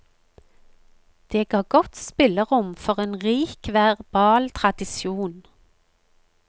Det ga godt spillerom for en rik verbal tradisjon.